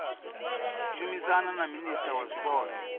shumisana na minisia wa zwipotso